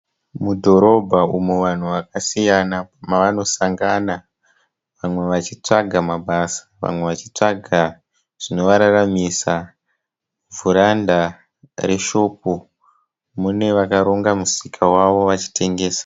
Mudhorobha umo vanhu vakasiyana mavanosangana vamwe chitsvaga mabasa vamwe vachitsvaga zvinovararamisa. Vhuranda reshopu mune vakaronga musika wavo vachitengesa.